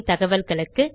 மேலும் தகவல்களுக்கு